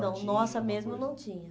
alguma coisa. Não, nossa mesma não tinha.